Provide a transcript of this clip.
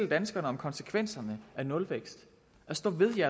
danskerne om konsekvenserne af en nulvækst og stå ved de